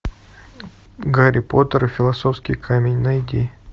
гарри поттер и философский камень найди